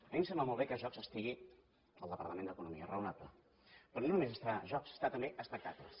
a mi em sembla molt bé que jocs estigui en el departament d’economia raonable però no només hi ha jocs hi ha també espectacles